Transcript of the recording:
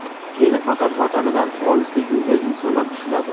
Meni faqat vatanidan olisda yurgan insonlar tushunadi.